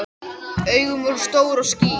Augun voru stór og skýr.